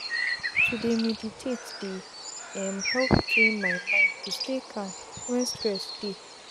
to dey meditate dey um help train my mind to stay calm wen stress dey